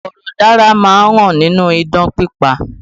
Iforodara má ń hàn nínú idán pípa